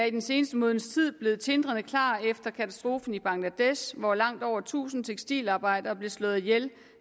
i den seneste måneds tid blevet tindrende klar efter katastrofen i bangladesh hvor langt over tusind tekstilarbejdere blev slået ihjel